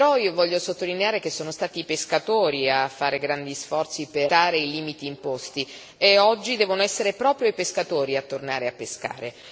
Però io voglio sottolineare che sono stati i pescatori a fare grandi sforzi per rispettare i limiti imposti e oggi devono essere proprio i pescatori a tornare a pescare.